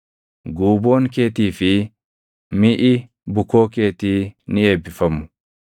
Guuboon keetii fi miʼi bukoo keetii ni eebbifamu.